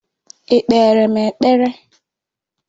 Ị́ kpere m ekpere?